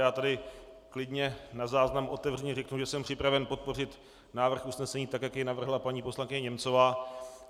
Já tady klidně na záznam otevřeně řeknu, že jsem připraven podpořit návrh usnesení tak, jak jej navrhla paní poslankyně Němcová.